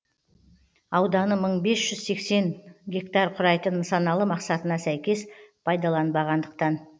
ауданы мың бес жүз сексен гектар құрайтын нысаналы мақсатына сәйкес пайдаланбағандықтан